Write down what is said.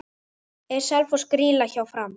Er Selfoss grýla hjá Fram?